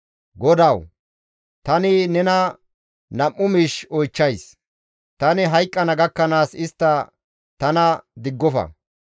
«GODAWU! Tani nena nam7u miish oychchays; tani hayqqana gakkanaas istta tana diggofa.